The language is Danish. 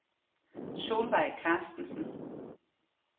Solvejg Carstensen